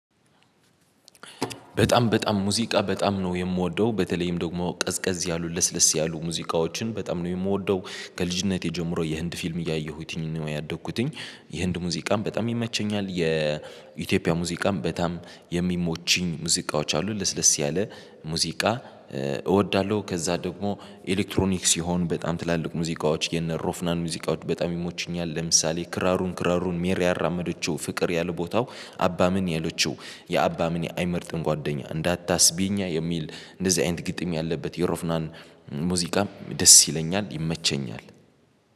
በጣም በጣም ሙዚቃ በጣም ነው የምወደው በተለይም ደግሞ ቀዝቀዝ ያሉ ለስለስ ያሉ ሙዚቃዎችን በጣም ነው የምወደው ከልጅነቴ ጀምሮ የህንድ ፊልም እያየሁትኝ ነው ያደግኩትኝ የህንድ ሙዚቃም በጣም ይመቸኛል የኢትዮጵያ ሙዚቃም በጣም የሚሞችኝ ሙዚቃዎች አሉ ለስለስ ያለ ሙዚቃ እወዳለሁ። ከዛ ደግሞ ኤሌክትሮኒክስ ይሆን በጣም ትላልቅ ሙዚቃዎች የነ ሮፍናን ሙዚቃዎች በጣም ይሞችኛል። ለምሳሌ ክራሩን ክራሩን ሜሪ ያራመደችው ፍቅር ያለ ቦታው አባ ምን ያለችው የአባ ምን አይመርጥም ጓደኛ እንዳታስቢኝ የሚል እንደዚህ አይነት ግጥም ያለበት የሮፍናን ሙዚቃም ደስ ይለኛል ይመቸኛል